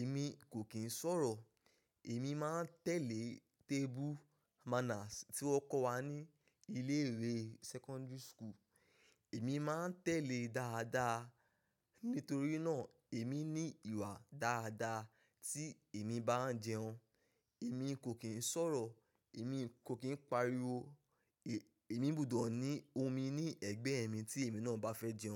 Èmi kò kín ń sọ̀rọ̀, èmi máa ń tẹ̀lé table manners tí wọ́n kọ́ wa ní ilé ìwé secondary school. Èmi máa ń tẹ̀lé dáadáa. Nítorí náà, èmi ní ìwà dáadáa tí èmi bá ń jẹun. Èmi kò kín ń sọ̀rọ̀, èmi kò kín ń pariwo, èmi gbọdọ̀ ní omi ní ẹ̀gbẹ́ mi tí èmi náà bá fẹ́ jẹun.